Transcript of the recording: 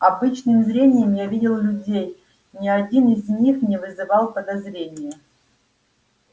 обычным зрением я видел людей ни один из них не вызывал подозрения